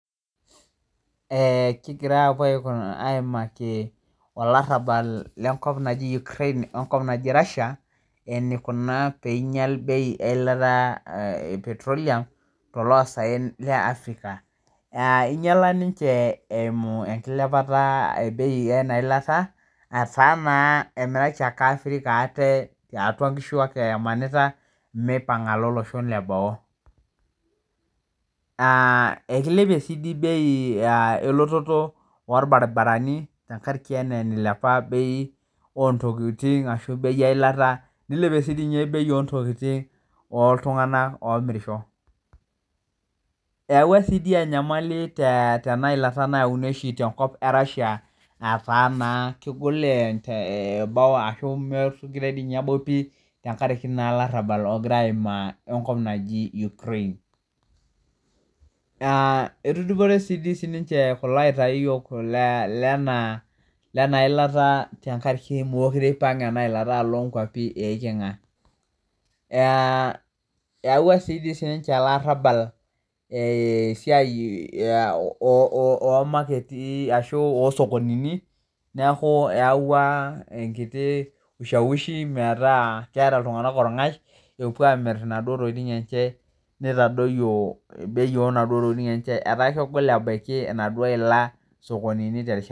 Eeeh, kigira aapo aimaki olarabal le nkop najii ukrein onkop naji Rashia eneikuna peinyal bei eilata e petroleum te loosaen le Africa, aa einyala ninche enkiliapata ebei eina ilata, etaa naa emeeta chaake Africa ate tiatua enkishu ake emanita peinga alo losho le boo, naa ekeilepie si dei bei elototo orbaribarani tengaraki enaa nailiap beii ontokitin ashu beii eilata. neilepie sii dei ninye ebei oontokitin ooltungana oomirisho. Eyauwa sii dei enyamali tee tena ilata naeuni oshi te enkop e Rashia etaa naa kegol eboo ashu emekore ninye ebau pii tengaraki naa elarabal ogira aimaa enkop najiii Ukrein. Naa etudupore sii dei ninche kulo aitaiyok le ana ilata tengaraki mekure eipang' ena ilaata alo inkwapi eiching'a, eyauwa sii dei ninche ale ilarabal esiai oomaketi ashu oo sokonini, naaku eawua enkiti wushaushi metaa keeta ltunganak olng'ash epuo aamir naduo tokitin enche neitadoiyo beii enaduo ntokitiin enche etaa kegol abaki enaduo ila sokonini te rishata.